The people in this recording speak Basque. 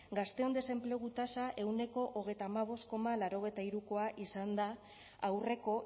gazteon desenplegu tasa ehuneko hogeita hamabost koma laurogeita hirukoa izan da aurreko